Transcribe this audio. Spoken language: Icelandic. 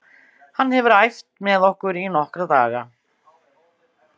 Hann hefur æft með okkur í nokkra daga.